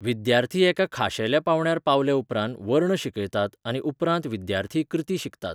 विद्यार्थी एका खाशेल्या पांवड्यार पावलेउपरांत वर्ण शिकयतात आनी उपरांत विद्यार्थी कृती शिकतात.